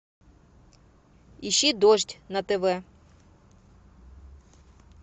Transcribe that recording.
ищи дождь на тв